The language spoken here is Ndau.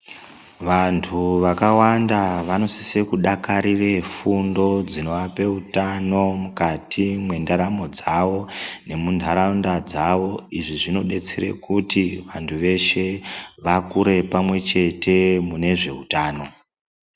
Vantu vakawanda vanosise kudakarire fundo dzinoape utano mukati mendaramo dzavo nemunharaunda dzavo. Izvi zvinobetsere kuti vantu veshe vakure pamwe chete mune zveutano.